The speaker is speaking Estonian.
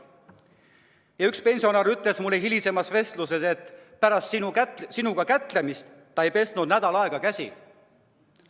Ja üks pensionär ütles mulle hilisemas vestluses, et pärast sinuga kätlemist ta ei pesnud nädal aega käsi.